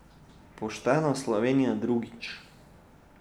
Poštena Slovenija drugič.